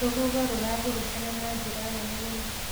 Rũhuho rũrahurutana na njĩra nene mũno.